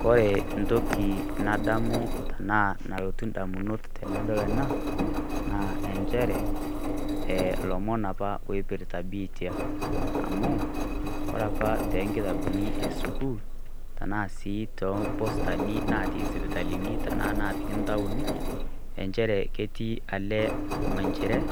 Kore entoki nadamu tanaa nalotu indamunot tenadol ena, naa enjere, e ilomon apa oipirta biitia. Amu, kore apa tenkitabuni esukuul, tanaa si tompostani natii sipitalini, tanaa napiki ntaoni, enjere ketii ale minjiret,